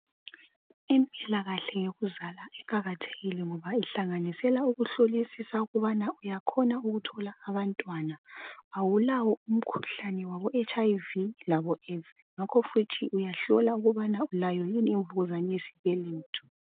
Impilakahle yokuzala iqakathekile ngoba ihlanganisela ukuhlolisisa ukubana uyakhona ukuthola abantwana , awulawo umkhuhlane wabo HIV labo Aids. Ngakho futhi uyahlola ukubani ulayo yini imvukuzane yesibeletho.